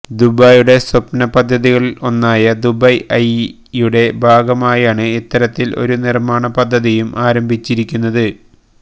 ദുബൈയുടെ സ്വപ്ന പദ്ധതികളില് ഒന്നായ ദുബൈ ഐയുടെ ഭാഗമായാണ് ഇത്തരത്തില് ഒരു നിര്മാണ പദ്ധതിയും ആരംഭിച്ചിരിക്കുന്നത്